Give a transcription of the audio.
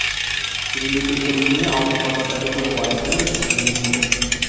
Shuningdek, intervyuning audio formatdagi to‘liq variantini eshitishingiz mumkin.